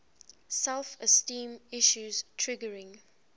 self esteem issues triggering